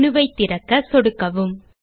menu ஐ திறக்க சொடுக்கவும்